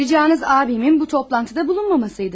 Ricanız abimin bu toplantıda bulunmamasıydı.